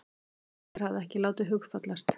Ingveldur hafði ekki látið hugfallast.